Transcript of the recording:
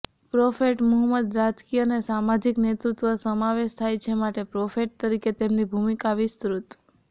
prophet Muhammad રાજકીય અને સામાજિક નેતૃત્વ સમાવેશ થાય છે માટે પ્રોફેટ તરીકે તેમની ભૂમિકા વિસ્તૃત